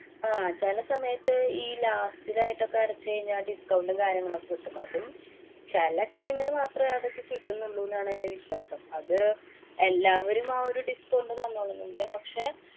ആഹ് ചെല സമയത്ത് ഈ last ലായിട്ടൊക്കെ അടച്ചു കഴിഞ്ഞാ discount ഉം, കാര്യങ്ങളൊക്കെ കിട്ടും. അതും ചെല time ല് മാത്രേ അതൊക്കെ കിട്ടൂന്നുള്ളൂന്നാണ് എന്‍റെ വിശ്വാസം. അത് എല്ലാവരും ആ ഒരു discount തന്നോളണന്നില്ല. പക്ഷേ,